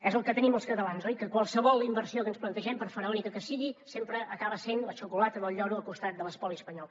és el que tenim els catalans oi que qualsevol inversió que ens plantegem per faraònica que sigui sempre acaba sent la xocolata del lloro al costat de l’espoli espanyol